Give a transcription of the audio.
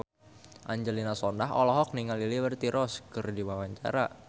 Angelina Sondakh olohok ningali Liberty Ross keur diwawancara